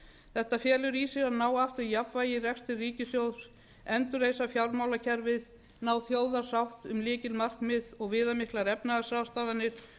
þetta felur í sér að ná aftur jafnvægi í rekstri ríkissjóðs endurreisa fjármálakerfið ná þjóðarsátt um lykilmarkmið og viðamiklar efnahagsráðstafanir